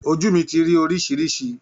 Ojú mi ti rí oríṣiríṣi